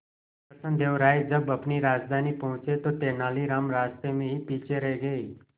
कृष्णदेव राय जब अपनी राजधानी पहुंचे तो तेलानीराम रास्ते में ही पीछे रह गए